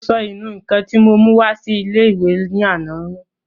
Mo sọ ìnù-ǹkan tí mo mú wá sí ilé-ìwé ní àná nù